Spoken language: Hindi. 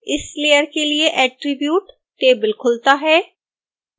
इस लेयर के लिए attribute टेबल खुलता है